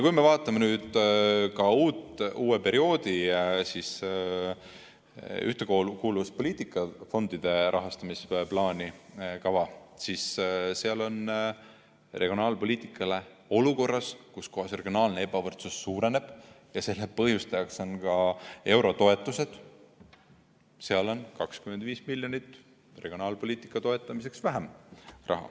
Kui me vaatame ka uue perioodi ühtekuuluvuspoliitika fondide rahastamisplaani, siis seal on regionaalpoliitikale olukorras, kus regionaalne ebavõrdsus suureneb, ja selle põhjustajaks on ka eurotoetused, 25 miljonit vähem.